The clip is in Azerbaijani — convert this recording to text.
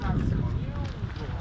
Həştdən düşdü.